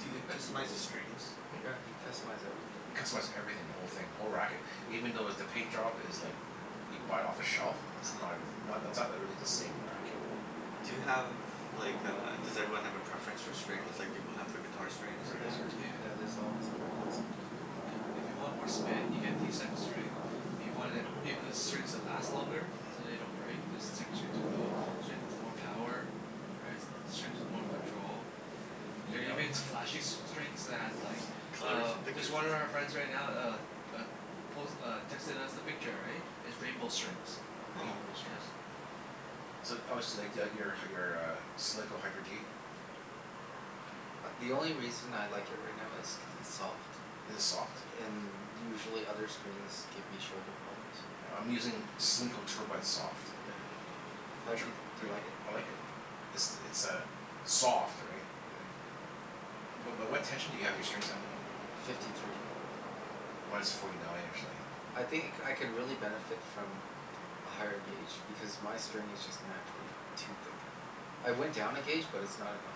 Do uh you but customize the strings? Hmm? Yeah, you can customize everything. You customize everything. The whole thing. The whole racket. Even though with the paint job is like Yeah. you buy it off the shelf. It's uh-huh. not as, not that's not really the same racket. Do you have like a, does everyone have a preference for strings like people have for guitar strings? Everybody Yeah. has their Yeah. Yeah, there's always a preference. Yeah. If you want more spin you get these type of string If you want it, even the strings that last longer. Mhm. So they don't break. There's s- strings of tho- Strings with more power. Right? S- strings with more control. You There are oh even s- flashy s- strings that have like Colors uh, and just pictures one and of our stuff? friends right now uh uh, pos- uh, texted us a picture, right? Is rainbow strings. Oh. Rainbow Yeah. strings. So oh so you like the out your uh your uh Solinco Hyper G? A- the only reason I like it right now is cuz it's soft. Is it soft? And usually other strings give me shoulder problems. Yeah, I'm using Solinco Tour Bite soft. Yeah. How Have di- you tri- do you Are y- like it? I like it. It's it's a soft, right? Yeah. But but what tension do you have your strings at? Uh, fifty three. Mine's forty nine, actually. I think I c- could really benefit from a higher gauge, because my string is just naturally too thick. I went down a gauge but it's not enough.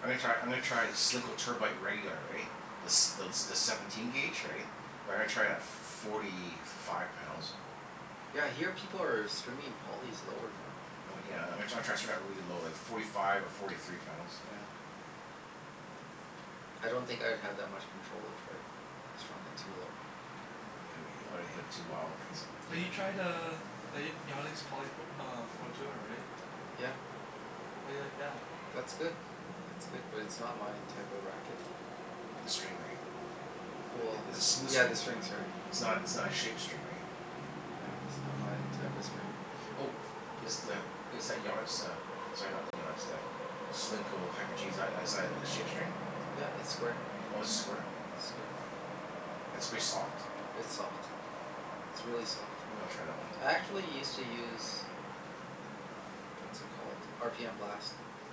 I'm gonna try, I'm gonna try Solinco Tour Bite regular, right? The s- thel- the seventeen gauge, Yeah. right? But I'm gonna try it at forty five pounds. Yeah, I hear people are stringing polys lower now. Oh yeah, I'm gonna try try to string that really low, like forty five or forty three pounds. Yeah. Mm. I don't think I'd have that much control if I strung it too low. Yeah, you don't wanna hit it too wild, Yeah, right? So but Yeah. you tried uh the Y- Yannick's poly p- uh Pro Tour, right? Yeah. Yeah? How do you like that? That's good. Yeah. It's good. But it's not my type of racket. Mm. The string, right? W- Th- well i- it's a smooth yeah, string, the i- string's hard. it's not it's not Mm. a shaped string, right? Yeah, it's not my type of string. Mhm. Oh. Is the, is that Yannick's uh, sorry, not the Yannick's, the Solinco Hyper G, is that as a shape string? Yeah, it's square. Oh, it's square? Oh, Square. okay. It's pretty soft? It's soft. It's really soft. Maybe I'll try that one. I actually used to use uh, what's it called? R p m Blast.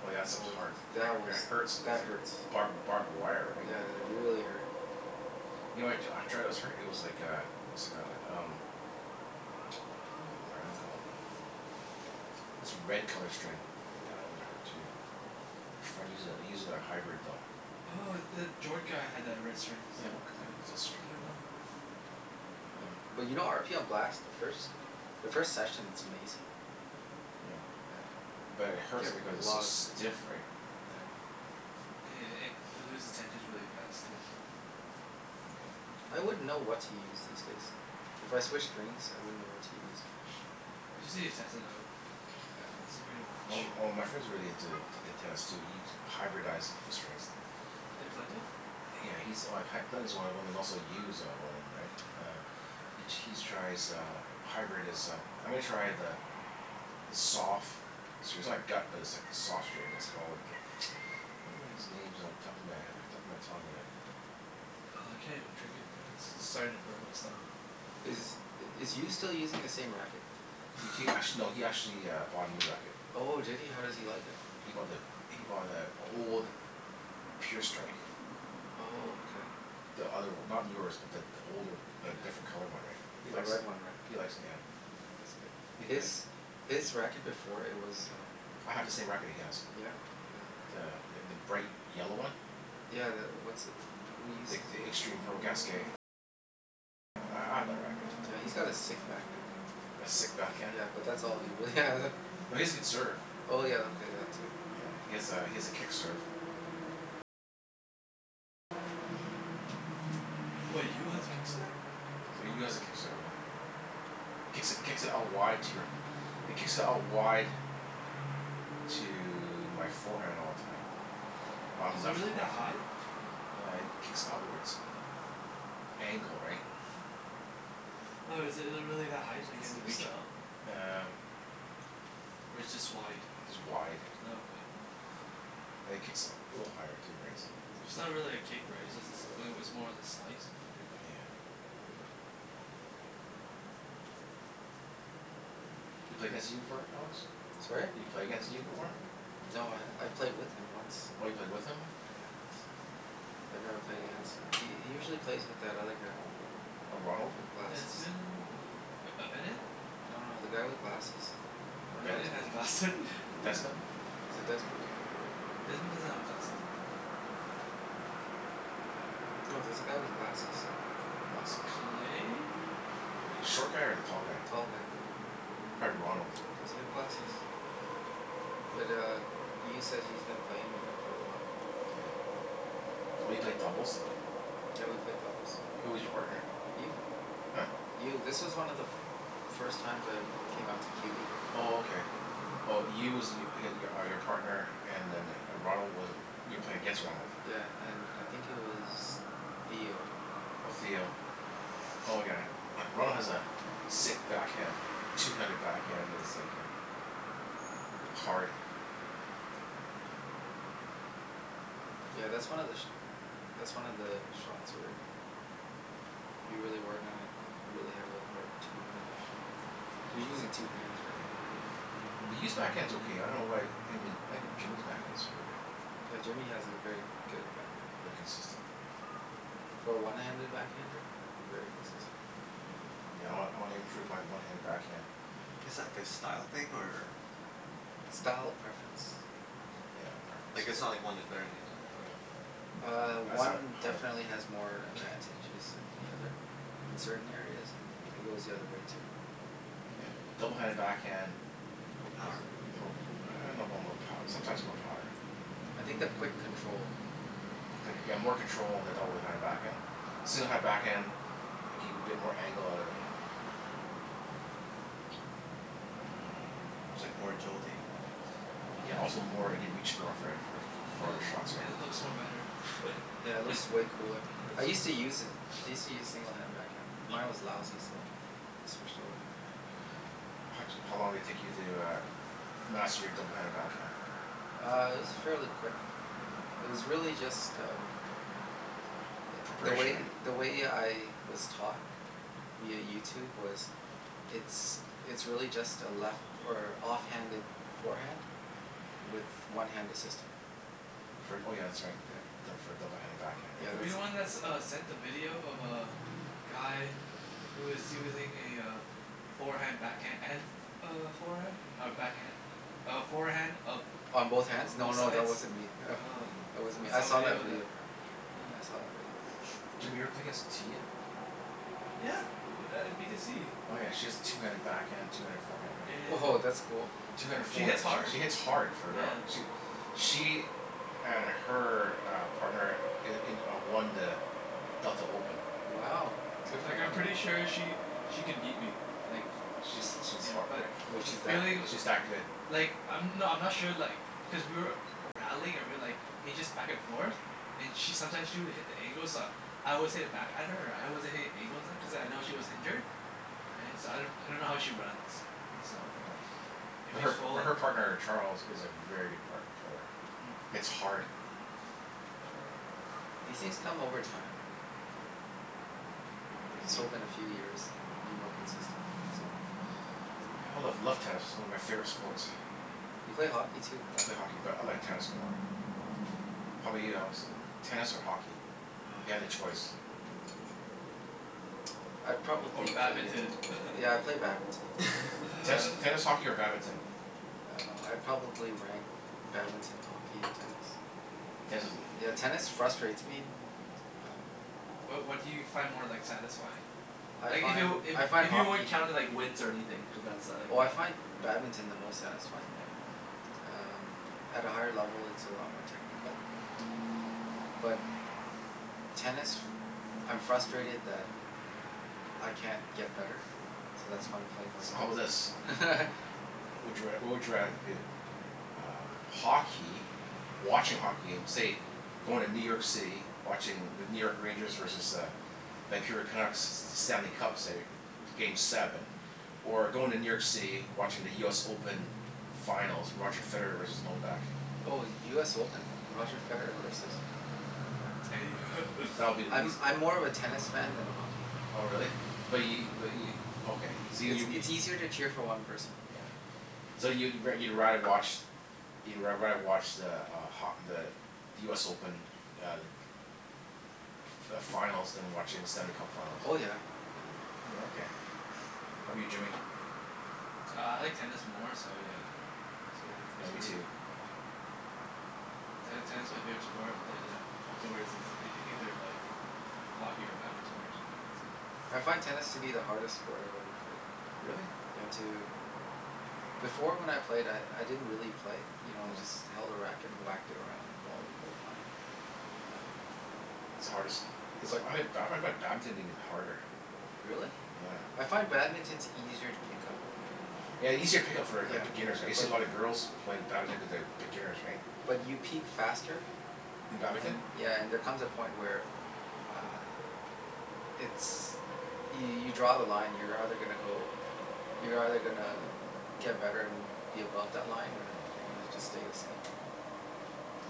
Oh yeah, that Oh stuff's well, hard. I- that was, it hurts, like that the hurts. barb- barbed wire, right? Yeah, they really hurt. You know what I t- try that was hurt? It was like a it was like a um what was that brand called? This red color string. That one hurt too. My friend uses it, he uses a hybrid, though. Oh, the Jord guy had the red strings. Yeah, what k- k- what was that I string don't called? know. But you know r p m Blast, the first the first session it's amazing. Yeah. Yeah. But it Get hurts because re- a it's so lot of spin. stiff, right? Yeah. Yeah yeah yeah. It it loses tensions really fast, too. Yeah. I wouldn't know what to use these days. If I switched strings, I wouldn't know what to use. Yeah. You just need to test it out. Yeah. That's the pretty Well much m- m- my friend's really into t- tennis too. He hyberdized the strings. The Clinton? Yeah, he's like C- Clinton's one of them, and also Yu is uh one of them, right? Mm. Um He he's tries uh hybrid is uh, I'm gonna try the the sof- gut but it's like soft string. It's called I can't remember these names off the top of my he- top of my tongue whadat- Oh, I can't even drink anymore of this. This is starting to burn my stomach. Is Yeah. is Yu still using the same racket? He t- act- no, he actually bought a new racket. Oh, did he? How does he like it? He he he bought the, he bought the old Pure Strike. Oh, okay. The other one. Not yours but th- the older, the Yeah. different colored one, right? He The likes red it. one, right? He likes it, yeah. Oh, yeah, that's good. He His like his racket before, it was um I have the same racket he has. Yeah, uh The th- the bright yellow one. Yeah, the, what's, who uses it again? Yeah, he's got a sick backhand. A sick backhand? Yeah, but that's all he really has. No, he has a good serve. Oh yeah, okay, that too. Yeah. He has a he has a kick serve. What, Yu has a kick serve? Yu has a kick serve, yeah. Mm. Kicks it kicks it out wide to your It kicks out wide to my forehand all the time. I'm Is it left really that left ha- high? Yeah, he kicks outwards angle, right? Hmm. No, is it it really that high, like you have to reach up? Uh Or it's just wide? Just wide. Oh, okay. And it kicks u- a little higher too, right? So It's not really a kick, right? It's just a sl- like, it was more of a slice. Yeah. You play against Yu before, right Alex? Sorry? You play against Yu before? No, I've played with him once. Oh, you played with him? Yeah, once. I've never played against him. He he usually plays with that other guy. A Ronald? W- with glasses. Desmond? Oh, B- uh Bennett? No no, the guy with glasses. I don't know Ben- Bennett his name. has glasse- Desmond? Is it Desmond? Desmond doesn't have glasses though. No, there's a guy with glasses. Glasses? Clay? Short guy or the tall guy? Tall guy. Probably Ronald. Does he have Yeah yeah glasses? yeah. Yeah. Mm. But uh Yu says he's been playing with him for a while. Yeah. Oh, you played doubles w- Yeah, we played doubles. Who was your partner? Yu. Huh? Yu. This was one of the f- first times I came out to q e. Oh, okay. Mm. Oh, Yu was y- h- are your partner and then the Ronald was you were playing against Ronald? Yeah, and I think he was Theo. Oh, Theo. Yeah. Oh yeah. Ronald has a sick backhand. two-handed backhand that's like a like hard. Yeah, that's one of the sh- that's one of the shots where you really work on it you could really have a hard two-handed backhand. You're using two hands, right? Yeah. B- but Yu's backhand's okay. I dunno why I mean I think Jimmy's backhand's really good. Yeah, Jimmy has a very good backhand. Very consistent. For a one-handed backhander? Very consistent. Yeah, I wan- I wanna improve my one-handed backhand. Is that like a style thing or Style preference. Preference. Yeah. Yeah, preference, Like, yeah. it's not like one is better than the other or Uh, That's how I one how I definitely has more advantages than the other. In certain areas. And it goes the other way too. Yeah. Mm. double-handed backhand More is power? more I dunno about more pow- sometimes more power. I think the quick control. Con- yeah, more control on the double-handed Yeah. backhand. single-handed backhand, like you can get more angle out of it. Mhm. It's like more agility. Yeah, also more, you can reach more for for f- And farther shots, i- right? it looks more better. Yeah, it looks way cooler. Yeah. I used to use it. I used to use Mm. single-handed backhand, but mine was lousy, so I switched over. How d- how long did it take you to uh master your double-handed backhand? Uh, it was fairly quick. Mm. It was really just um the Preparation, way right? the way I was taught via YouTube was it's it's really just a left or off-handed forehand with one hand assisting. Fr- oh yeah, that's right. Yeah, Yeah. d- for a double-handed backhand, Yeah, right? Were you that's the it, one that s- that's what uh it is. sent the video of uh guy who is using a uh forehand backhand and f- f- uh forehand? Or backhand? A forehand of On both b- hands? No both no, sides? that wasn't me. Oh. Mm. That wasn't I me. I saw a saw that video of that. video. Yeah. I saw that video. Jimmy, you ever play Yeah. against Tia? Yeah, u- b- at b to c. Oh yeah, she has two-handed backhand, two-handed forehand, Yeah right? yeah Woah, that's cool. yeah. Yeah. two-handed She foreha- hits hard. she hits hard for a girl. Yeah. She w- she and her uh partner i- in a won the Delta Open. Wow, Yeah. good Mhm. for Like I'm them, hey? pretty sure she she could beat me, like She's she's yeah, har- yeah. but Was the she that feeling good? w- She's that good. Like, I'm, no I'm not sure like because we were rallying or we like he just back and forth. And she sometimes she would hit the angles uh I always hit it back at her Right? I wasn't hitting angles at cuz I know she was injured. Right? So I d- I don't know how she runs. So Yeah. if But she's her but full her partner Charles is a very good part- player. Mm. Hits hard. Yeah. These things come over time, right? Just hope in a few years be more consistent, that's all. Yeah, I love love tennis. It's one of my favorite sports. Yeah. You play hockey too, right? I play hockey but I like tennis more. How 'bout you, Alex? Tennis or hockey? If you Oh. had a choice. I'd Or probably play badminton? Yeah, I'd play badminton. Tennis Ten tennis, hockey, or badminton? Uh, I'd probably rank badminton, hockey, and tennis. Tennis is l- i- Yeah, i- tennis frustrates me. Um Wha- what do you find more like satisfying? I Like if it find, w- I if find if you weren't hockey counting like wins or anything, cuz that's a like Oh a I find badminton the most satisfying. Yeah. Um, at a higher level it's a lot more technical. Mm. But tennis, I'm frustrated that I can't get better, so that's why I'm playing more So how tennis. bout Mm. this? Mhm. What would you r- what would you rather do? Um, hockey watching hockey game, say going to New York City. Watching the New York Rangers versus the Vancouver Canucks, Stanley Cup, say, game seven. Or going to New York City, watching the US Open finals. Roger Federer versus Novak. Oh, US Open. Roger Federer versus Mm. Novak. That would be the eas- I'm I'm more of a tennis fan than a hockey fan. Oh really? But Yeah. y- but y- okay. So y- It's you w- it's easier to cheer for one person. Yeah. So you wo- you'd rather watch you'd r- rather watch the uh ho- the the US Open uh like f- f- finals than watching the Stanley Cup finals? Oh yeah, yeah. Mm. Mm. Oh, okay. How 'bout Yeah. you Jimmy? Uh I like tennis more so yeah It's really, Yeah. Yeah, it's me really, too. yeah Ten- tennis my favorite sport, then a- afterwards is ei- either like hockey or badminton or something. That's it. I find tennis to be the hardest sport I've ever played. Really? Yeah, to Before when I played I I didn't really play. You know, I Mm. just held a racket and whacked it around and the ball would Mm. go flying. Um It's the hardest is But I ha- ba- I find badminton even harder. Really? Hmm. Yeah. I find badminton's easier to pick up. Yeah, easier to pick up for like Yeah, beginners, right? You see but a lot of girls playing badminton cuz they have beginners, right? But you peak faster In badminton? and, yeah, and there comes a Mm. point where uh it's, y- you draw the line. You're either gonna go, you're either gonna get better and be above that line or Mhm. you're gonna just stay the same. Hmm.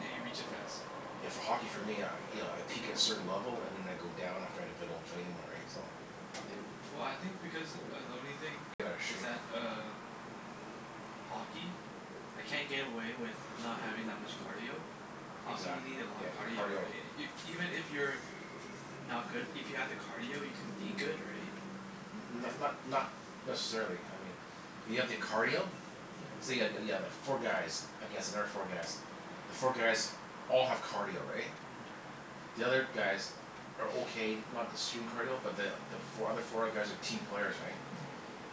Yeah, you reach it faster. Yeah, Yeah. for hockey for me, I you know I peak at a certain level and then I go down after if I don't play anymore, right? So Yeah. Well, I think because uh the only thing Get outta is shape. that uh hockey? I can't get away with h- not having that much cardio. Hockey, Exac- you need a lot yeah, of in cardio, cardio. right? I- Y- even if you're not good, if you have the cardio you can be good, right? N- Right? not not But not necessarily, I mean if you have the cardio say Mhm. yeah yeah yeah the four guys against another four guys. The four guys all have cardio, right? Mm. The other guys are okay. Not the stream cardio but the the fo- other four guys are team players, right?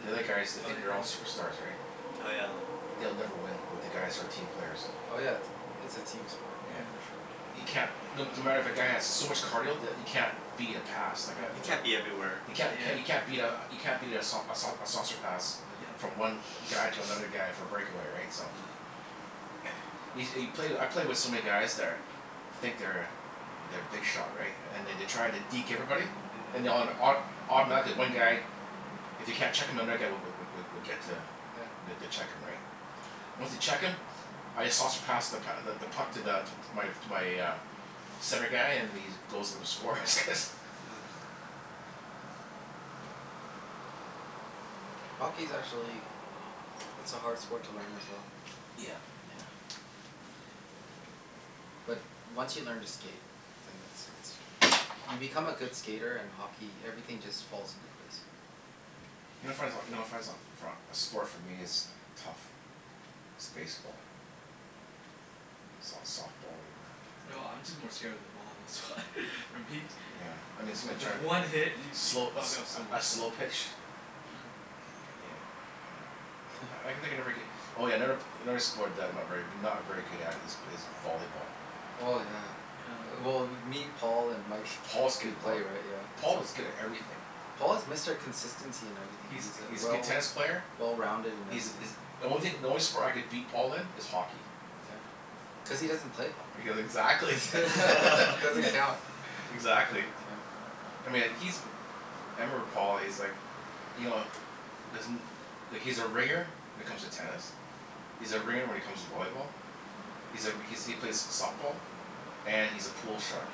The other guys, they Mm. Oh, think they're yeah all yeah. superstars, right? Oh yeah. Yeah. They'll never win with the guys who are team Mm. players. Oh yeah, it's a team sport Yeah. Mm. for sure. You can't No no matter if a guy has so Yeah. much cardio that you can't beat a pass. Like a You like Mhm. a can't be everywhere. You can't c- Yeah. you can't beat a you can't beat a sau- a sau- a saucer pass. Yeah. Yeah. Mm. From one guy to another guy for a breakaway, right? So Yeah. Yo- you play I play with so many guys that are think they're they're big shot right? And they d- try to deke everybody? And Mhm. they autom- auto- automatically one guy if they can't check him another guy w- w- w- would get to Yeah. the to check him, right? Once they Myeah. check him I just saucer pass the p- th- the puck to the to my to my uh center guy and then he just goes for the score cuz Yeah. Yeah. Hockey's actually it's a hard sport to learn as well. Yeah. Hmm. Yeah. But once you learn to skate then it's it's you become a Woah. good skater and hockey, everything just falls into place. You know what I find so, you know what I find so for a a sport for me is tough is baseball. S- softball, whatever. No, I'm just more scared of the ball, that's why. For me. Yeah, I mean someone's Cuz trying to one hit, y- you could slow a fuck up so sl- a much stuff. slow pitch Yeah. he uh yeah. Yeah. I can think I never get Oh yeah, never p- another sport that I'm not very not very good at is b- is volleyball. Oh, yeah. Yeah. Well me, Paul, and Mike. If Paul's good We at play, voll- right? Yeah, Paul so was good at everything. Paul is Mr. Consistency in everything. He's He's uh he's a good well tennis player. well-rounded in He's everything. is The only thing, the only sport I could beat Paul in is hockey. Yeah. Cuz he doesn't play hockey. Cuz exactly. Doesn't count. Exactly. Doesn't count. I mean, like he's m- I remember Paul. He's like you know doesn't like he's a ringer when it comes to tennis. He's a ringer when it comes to volleyball. He's a r- he's he plays softball. And he's a pool shark.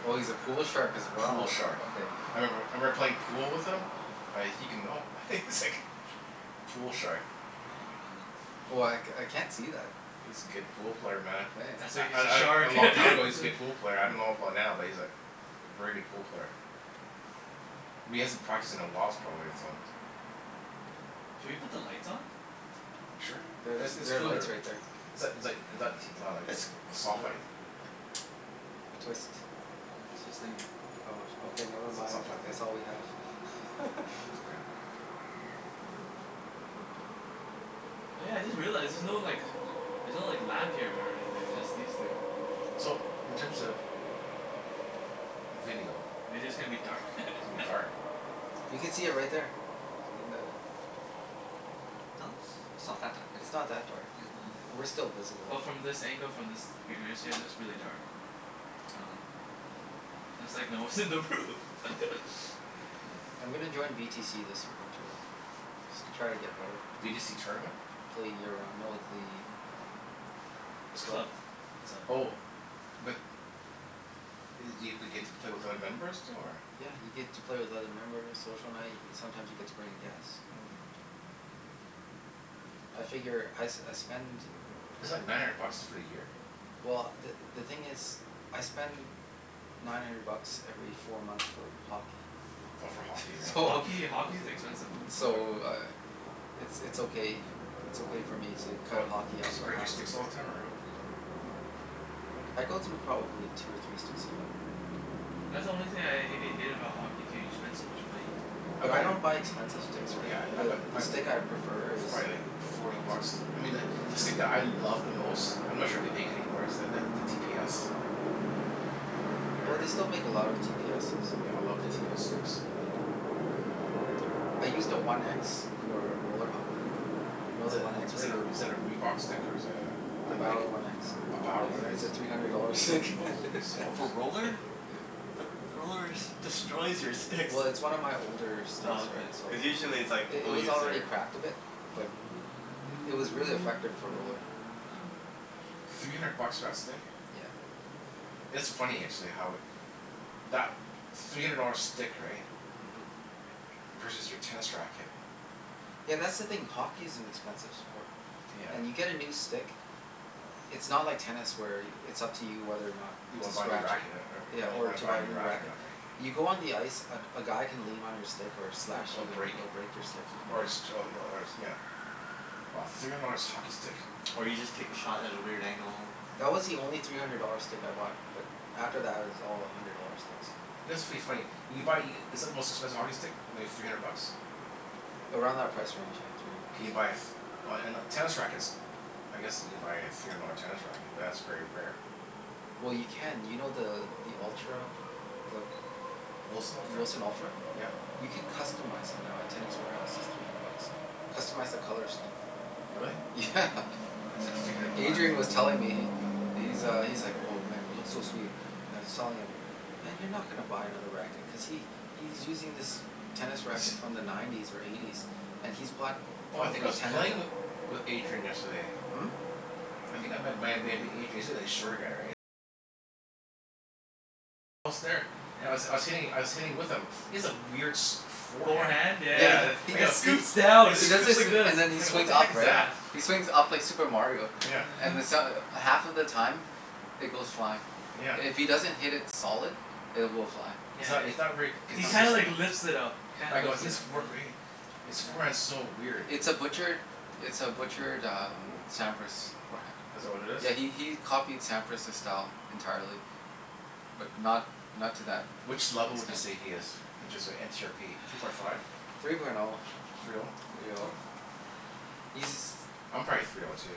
Oh, he's a pool shark as Pool well? shark. Okay. I remember I Mhm. remember playing pool with him like he can, no, he's Mm. like pool shark. Oh, Hmm man. Oh, I c- I can't see that. He's a good hmm. pool player, man. Mkay. That's why I he's a I d- a shark. long That's time ago he's a why good pool player. I dunno about now but he's like a very good pool player. But he hasn't practiced in a whiles probably so Hmm. Should we put the lights on? Sure. There's It's it's there are lights cooler. right there. Is that is like is that t- wow like It's soft light? cooler. Twist. I'm twisting it. Oh, sh- okay, never It's it's mind, not if plugged in. that's all we have. It's Mhm. okay. Oh yeah, I just realized, there's no like l- there's no like lamp here or anything. Yeah. It's just these two. So, in terms Hmm. of video Video's gonna be Mhm. dark. it's gonna be dark. You could see it right there. In the Yeah. No, it's it's not that dark, is It's it? not that dark Yeah. Yeah. I- we're still Well, visible. from this angle, from this it looks really dark. Oh. Yeah. It's like no one's in the room. Yeah. Hmm. I'm gonna join v t c this winter though. Try to get better. B to c tournament? Play year round, no the uh the It's a club. club. It's all Oh. But i- do you get to play with other members too, or Yeah, you get to play with other members. Social night. Sometimes you get to bring a guest. Mm. I figure I s- I spend Is it like nine hundred bucks for a year? well, the the thing is I spend nine hundred bucks every four months for hockey. Oh, for hockey, For right? So hockey? Hockey's expensive f- sport. so uh it's it's okay, it's okay for me to cut What? hockey off Cuz you for break half your a sticks all year. the time or Oh. I go through probably two or three sticks a year. That's the only thing Mm. I h- hate about hockey, too. You spend so much money. I But buy I don't buy expensive sticks, right? Yeah, I I buy The the m- th- stick I b- prefer it's is probably like one of the older forty ones. bucks. I mean the the stick that I love the most I'm not sure if they make it anymore is the the t p s. Have you ever Oh, hear- they still make a lot of t p s's. Yeah, I love the t p s sticks. Yeah, I I used a one x for a roller hockey. You know Is the that one x, is Rick? that a is that a Reebok stick, or is that a a The Nike? Bower one x? A Bower What? one x? It's a three hundred dollar stick. Holy smokes. For roller? Yeah. But the rollers destroys your sticks. Well, it's one of my older s- sticks Oh, right, okay. so Cuz Yeah. usually it's like I- it people was use already their cracked a bit. But it was really effective for a roller. Oh. Three hundred bucks for that stick? Yeah. It's funny actually how it that three hundred dollar stick, right? Mhm. Versus your tennis racket. Yeah, that's the thing. Hockey is an expensive sport. And Yeah. you get a new stick it's not like tennis where it's up to you whether or not You to wanna buy a new scratch it. racket and er- Yeah, when you or wanna to buy buy a a new new racket or racket. not, right? You go on the ice, a g- a guy can lean on your stick or Yeah, slash a b- you and break it'll break your Oh, stick. is it? or a six Yeah. oh Mhm. y- or it's nyeah. Wow. Three hundred dollars hockey stick. Or you just take a shot at a weird angle. That was the only three hundred dollar stick I bought. But after that it was all a hundred dollar sticks. You know, it's pretty funny you can buy e- Is it the most expensive hockey stick? Maybe three hundred bucks? Around that price range, yeah. Three hundred Can bucks. you buy a f- Oh, and uh, tennis rackets. I guess you can buy a three hundred dollar tennis racket, but that's very rare. Well, Yeah. you can. You know the the Ultra the W- Wilson the Ultra? Wilson Ultra? Yep. You can customize it now at Tennis Warehouse. It's three hundred bucks. Customize the color scheme. Really? Yeah. If you're gonna Adrian was buy telling me, he he's uh, he's like, "Oh man, it looks so sweet." And I was telling him, "Man, you're not gonna buy another racket." Cuz he he's using this tennis He racket sh- from the nineties or eighties. And he's bought Oh, I think I probably was ten of playing them. with with Adrian yesterday. Hmm? You c- And I was I Yeah. was hitting I was hitting with him. He has a weird sh- forehand. Forehand? Yeah yeah Yeah, Yeah, the yeah. he I It go he he scoops down. It he It does scoops scoops this, like this. and then he I go, "What swings the up, heck is right? that?" Yeah. He swings up like Super Mario. Yeah. And then so- half of the time it goes flying. Yeah. If he Yeah. doesn't hit it solid, it will fly. He's Yeah, not, it he's not very It's He not consistent. kinda like lifts it up. He I kinda go a lifts it his up, for- yeah. fee His forehand's Yeah. so weird. It's a butchered it's a butchered um Sampras forehand. Is that what it is? Yeah, he he he copied Sampras's style entirely. But not not to that Which level would you extent. say he is? Inches are n c r p Three point five? Three point oh. Three oh? Three oh. He's I'm probably three oh too.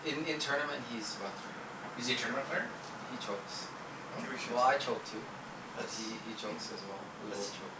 In in tournament he's about three oh. Is he a tournament player? He chokes. Hmm? Think we should Well, I choke too. But Let's he he Hmm? chokes as well. We both let's cho-